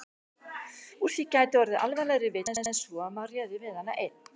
Úr því gæti orðið alvarlegri villa en svo að maður réði við hana einn.